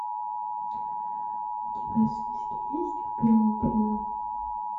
у тебя в списке есть в белом плену